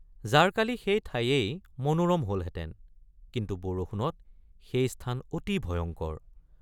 জাৰকালি সেই ঠায়েই মনোৰম হলহেঁতেন কিন্তু বৰষুণত সেই স্থান অতি ভয়ঙ্কৰ।